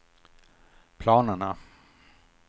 planerna